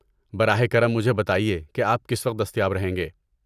براہ کرم مجھے بتائیے کہ آپ کس وقت دستیاب رہیں گے۔